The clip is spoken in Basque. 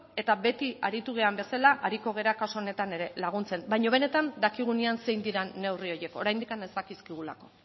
eta beti aritu garen bezala ariko gara kasu honetan ere laguntzen baino benetan dakigunean zer diren neurri horiek oraindik ez dakizkigula